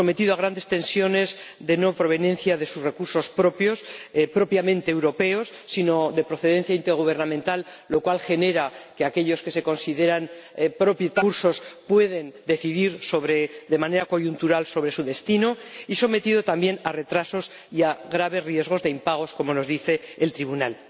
sometido a grandes tensiones por su no proveniencia de recursos propios, propiamente europeos, sino de recursos de procedencia intergubernamental, lo cual genera que aquellos que se consideran propietarios de los recursos puedan decidir de manera coyuntural sobre su destino y sometido también a retrasos y a graves riesgos de impagos, como nos dice el Tribunal.